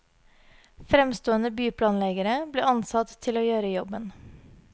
Fremstående byplanleggere ble ansatt til å gjøre jobben.